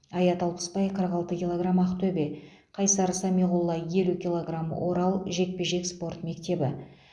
аят алпысбай қырық алты килограмм ақтөбе қайсар самиғолла елу килограмм орал жекпе жек спорт мектебі